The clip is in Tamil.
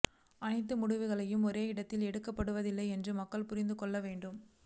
அனைத்து முடிவுகளையும் ஒரே இடத்தில் எடுக்கப்படுவதில்லை என்று மக்கள் புரிந்து கொள்ள வேண்டும்